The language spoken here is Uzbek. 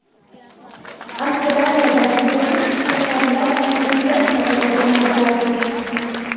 Avstraliyada yotiq svetoforlar tajriba sifatida o‘rnatiladi.